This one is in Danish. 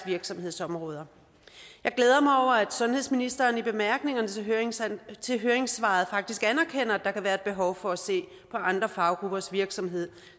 virksomhedsområder jeg glæder mig over at sundhedsministeren i bemærkningerne til høringssvaret til høringssvaret faktisk anerkender at der kan være et behov for at se på andre faggruppers virksomhed